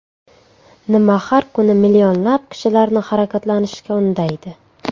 Nima har kuni millionlab kishilarni harakatlanishga undaydi?